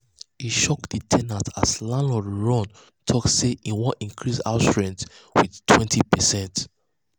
e shock the ten ant as landlord run talk sey e want increase house rent with 20%